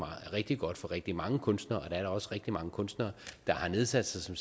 rigtig godt for rigtig mange kunstnere og der er da også rigtig mange kunstnere der har nedsat sig som